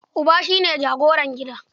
Uba shi ne jagoran gida.